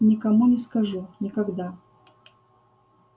никому не скажу никогда